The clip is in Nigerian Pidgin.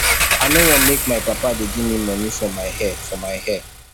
i no wan make my papa dey give me money for my for my hair